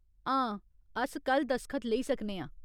हां, अस कल दसखत लेई सकने आं।